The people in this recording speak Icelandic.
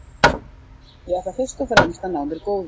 Ég ætla fyrst og fremst að ná mér góðum.